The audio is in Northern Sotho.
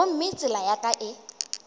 gomme tsela ya ka e